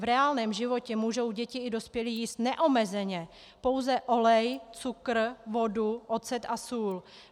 V reálném životě můžou děti i dospělí jíst neomezeně pouze olej, cukr, vodu, ocet a sůl.